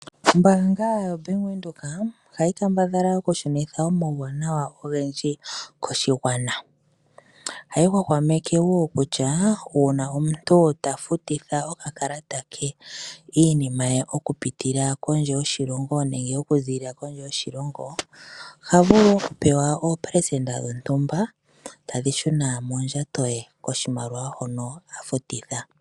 Ombaanga yaVenduka ohayi kambadhala okushunitha omawuwanawa ogendji koshigwana . ohayi hwahwameke woo kutya uuna omuntu ta futitha okakalata ke iinima ye oku pitila kondje yoshilongo nenge oku ziilila kondje yoshilongo ohavulu okupewa oopelesenda dhontumba tadhi shuna mondjato koshimaliwa shono afutitha.